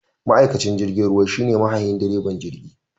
Ma'aikacin jirgin ruwa shine mahayin / direban jirgi